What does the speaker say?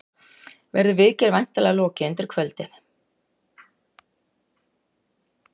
Verður viðgerð væntanlega lokið undir kvöld